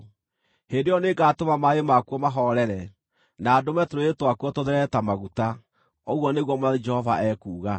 Hĩndĩ ĩyo nĩngatũma maaĩ makuo mahoorere, na ndũme tũrũũĩ twakuo tũtherere ta maguta, ũguo nĩguo Mwathani Jehova ekuuga.